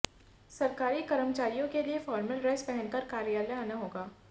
सरकारी कर्मचारियों के लिए फॉर्मल ड्रेस पहनकर कार्यालय आना होगा